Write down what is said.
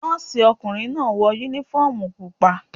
Nọ́ọ̀sì ọkùnrin náà wọ uniform pupa.